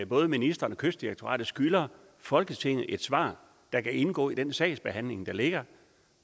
både ministeren og kystdirektoratet skylder folketinget et svar der kan indgå i den sagsbehandling der ligger